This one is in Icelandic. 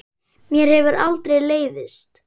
Mér hefur aldrei leiðst.